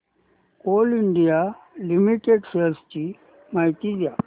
Coal India Limited shares ची माहिती द्या